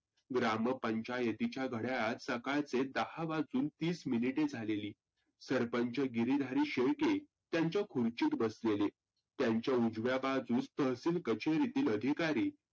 ग्रामपंचायतीच्या घड्याळात सकाळचे दहा वाजून तीस मिनीटे झालेली. सरपंच गिरीधारी शेळके त्यांच्या खुर्चीत बसलेले. त्यांच्या उजव्या बाजूस तहसील कचेरीतील अधिकारी